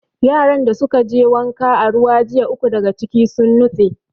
Yaran da suka je wanka a ruwa jiya, uku daga ciki sun nutse.